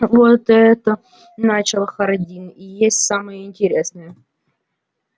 вот это начал хардин и есть самое интересное